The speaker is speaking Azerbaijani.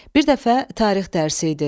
Bir dəfə tarix dərsi idi.